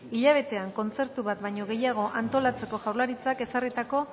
hilabetean kontzertu bat baino gehiago antolatzeko jaurlaritzak ezarritako